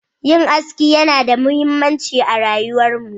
Yin aski yana da muhimmanci a rayuwarmu.